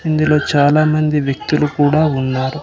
ఇందులో చాలామంది వ్యక్తులు కూడా ఉన్నారు.